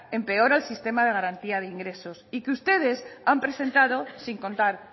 empeora el sistema de garantía de ingresos y que ustedes han presentado sin contar